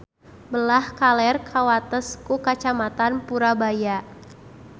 Belah kaler kawates ku Kacamatan Purabaya.